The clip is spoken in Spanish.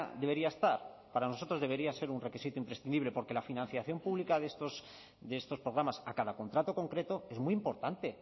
debería estar para nosotros debería ser un requisito imprescindible porque la financiación pública de estos programas a cada contrato concreto es muy importante